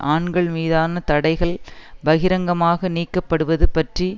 ஆண்கள் மீதான தடைகள் பகிரங்கமாக நீக்கப்படுவது பற்றிய